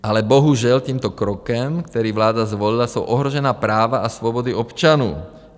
Ale bohužel tímto krokem, který vláda zvolila, jsou ohrožena práva a svobody občanů.